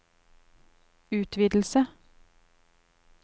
utvidelse